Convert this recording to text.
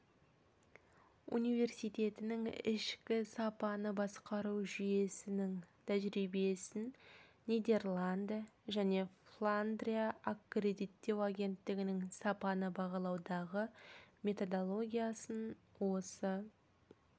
университетінің ішкі сапаны басқару жүйесінің тәжірибесін нидерланды және фландрия аккредиттеу агенттігінің сапаны бағалаудағы методологиясын осы